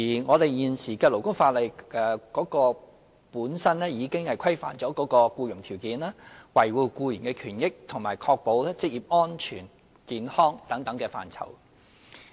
我們現時的勞工法例本身已規範僱傭條件、維護僱員權益及確保職業安全與健康等範疇。